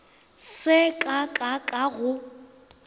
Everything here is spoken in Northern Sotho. se ka ka ka go